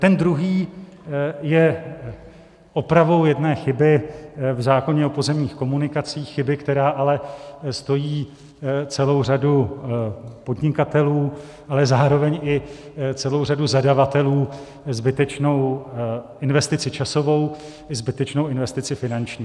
Ten druhý je opravou jedné chyby v zákoně o pozemních komunikacích, chyby, která ale stojí celou řadu podnikatelů, ale zároveň i celou řadu zadavatelů zbytečnou investici časovou i zbytečnou investici finanční.